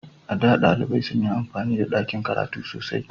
A da, ɗalibai sun yi amfani da dakin karatu sosai.